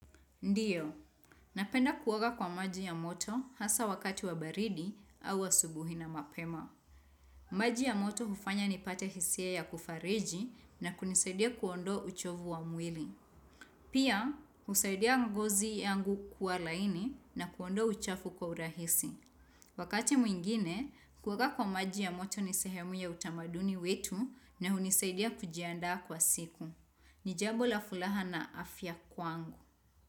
Ndiyo, napenda kuoga kwa maji ya moto hasa wakati wa baridi au asubuhi na mapema. Maji ya moto hufanya nipate hisia ya kufariji na kunisaidia kuondoa uchovu wa mwili. Pia, husaidia ngozi yangu kuwa laini na kuondoa uchafu kwa urahisi. Wakati mwingine, kuoga kwa maji ya moto ni sehemu ya utamaduni wetu na hunisaidia kujiandaa kwa siku. Ni jambo la fulaha na afya kwangu.